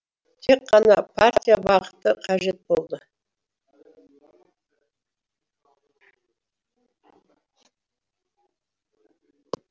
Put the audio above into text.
тек қана партия бағыты қажет болды